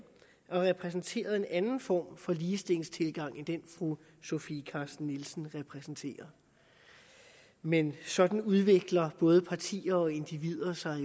og repræsenterede en anden form for ligestillingstilgang end den fru sofie carsten nielsen repræsenterer men sådan udvikler både partier og individer sig